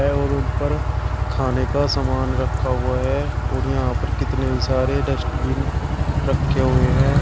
और उन पर खाने का सामान रखा हुआ है और यहां पर कितने ही सारे डस्टबिन रखे हुए हैं।